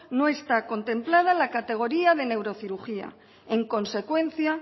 no está contemplada en la categoría de neurocirugía en consecuencia